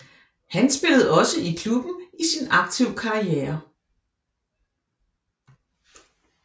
Han spillede også i klubben i sin aktive karriere